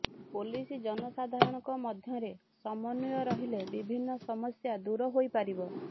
police ଜନସାଧାରଣଙ୍କ ମଧ୍ୟରେ ସମନ୍ୱୟ ରହିଲେ ବିଭିନ୍ନ ସମସ୍ୟା ଦୂର ହୋଇପାରିବ